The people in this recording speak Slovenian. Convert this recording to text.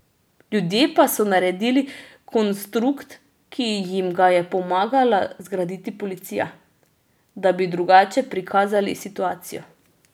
Ljudje pa so naredili konstrukt, ki jim ga je pomagala zgraditi policija, da bi drugače prikazali situacijo.